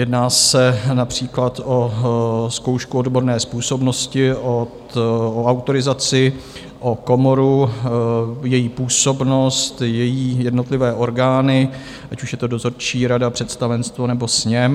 Jedná se například o zkoušku odborné způsobnosti o autorizaci, o komoru, její působnost, její jednotlivé orgány, ať už je to dozorčí rada, představenstvo nebo sněm.